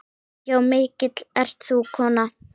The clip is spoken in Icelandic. Já, mikil ert þú kona.